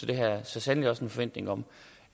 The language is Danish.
det har jeg så sandelig også en forventning om